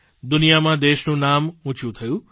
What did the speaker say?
દુનિયામાં દેશનું નામ ઊંચું થયું